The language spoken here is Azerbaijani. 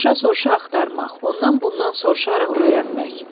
Soruşa-soruşa axtarmaq, ondan bundan soruşaraq öyrənmək.